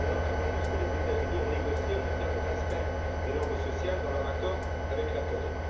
On est très loin, par exemple, de ce que les États Unis ont négocié en matière de respect des normes sociales dans leur accord avec la Corée.